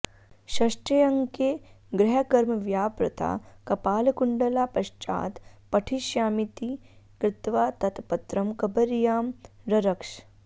षष्ठेऽङ्के गृहकर्मव्यापृता कपालकुण्डला पश्चात् पठिष्यामीति कृत्वा तत् पत्रं कबर्यां ररक्ष